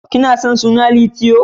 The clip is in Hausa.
Kina son suna Litiyo?.